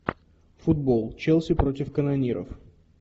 футбол челси против канониров